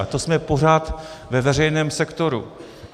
A to jsme pořád ve veřejném sektoru.